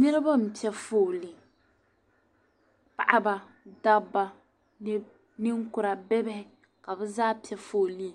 Niriba m-pe fooli. Paɣiba dabba ninkura bibihi ka bɛ zaa pe fooli